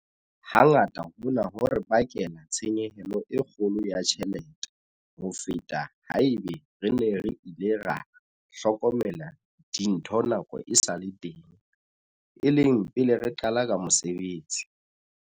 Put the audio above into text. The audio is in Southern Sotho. Hangata hona ho re bakela tshenyehelo e kgolo ya tjhelete ho feta ha eba re ne re ile ra hlokomela dintho nako e sa le teng, e leng pele re qala ka mosebetsi.